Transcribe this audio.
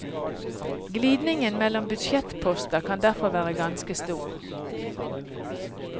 Glidningen mellom budsjettposter kan derfor være ganske stor.